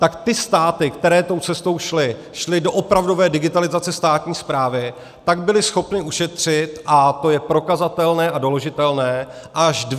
Tak ty státy, které tou cestou šly, šly do opravdové digitalizace státní správy, tak byly schopny ušetřit, a to je prokazatelné a doložitelné, až 2 % HDP.